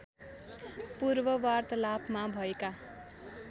पूर्व वार्तालापमा भएका